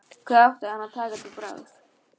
Hvað átti hann að taka til bragðs?